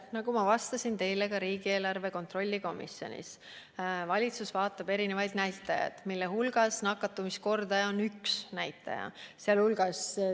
Nagu ma vastasin teile ka riigieelarve kontrolli erikomisjonis, valitsus jälgib erinevaid näitajaid, mille hulgas nakatumiskordaja on üks näitaja.